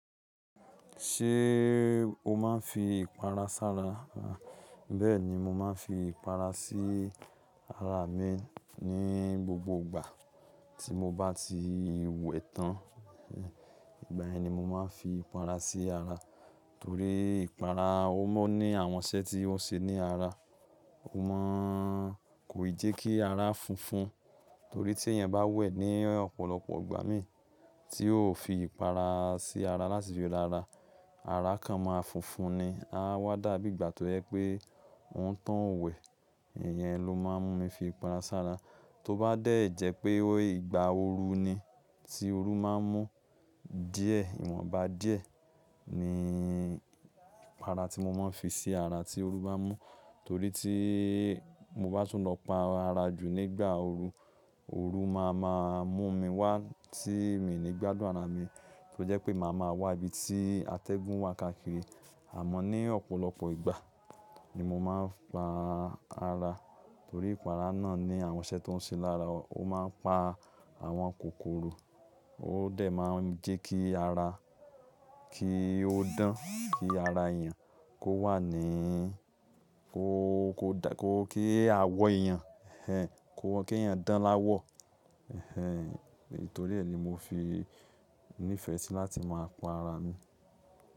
Ṣé o máa ń fi ìpara sára? Bẹ́ẹ̀ni, mo máa ń fi ìpara sí ara mi ní gbogbo ìgbà tí mo bá ti wẹ̀ tán. Ìgbà yẹn ni mo máa ń fi ìpara sí ara torí ìpara ó máà ní àwọn iṣẹ́ tí ó ń ṣe ní ara. Ó máa ń kòì jẹ́ kí ara funfun torí tí ẹyan bá wẹ̀ ní ọ̀pọ̀lọpọ̀ ìgbà mì tí ó ò fi ìpara sí ara láti fi ra àrà, àrà kan máa funfun ni, á wá dàbí ìgbà tó jẹ pé òni tóun ó wẹ̀. Ìyẹn ló máa ń mú mi fi ìpara sára. Tó bá dẹ́jẹ́ pé ìgbà ooru ni, tí ooru máa ń mú díẹ̀, ìwọ̀nba díẹ̀ ni ìpara tí mo máa ń fi sí ara tí ooru bá mú torí tí mo bá tún lọ pa ara jù nígbà ooru, ooru máa ma mú mi wá tí mi ò ní gbádùn ara mi. Ó jẹ́ pé màá ma wà ibi tí atẹ́gùn wà káàkiri. Àmọ́ ní ọ̀pọ̀lọpọ̀ ìgbà ni mo máa ń pa ara torí ìpara náà ní àwọn iṣẹ́ tó ń ṣe lára wa. Ó máa ń pa àwọn kòkòrò, ó dẹ̀ máa ń jẹ́ kí ara kí ó dán, kí ara èèyàn kó wà ní kò, kó dá, kó kí àwọ̀ èèyàn ẹ, kó kí èèyàn dán láwọ̀. Ẹ̀hẹn. Nítorí ẹ ni mo fi nífẹ̀ẹ́ sí i láti máa pa ara mi.